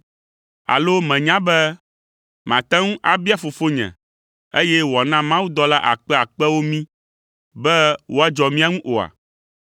Alo mènya be mate ŋu abia Fofonye, eye wòana mawudɔla akpeakpewo mí be woadzɔ mía ŋu oa?